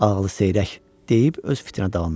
Ağlı seyrək deyib öz fitinə davam elədi.